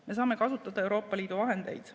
Me saame kasutada Euroopa Liidu vahendeid.